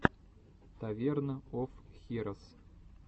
таверн оф хирос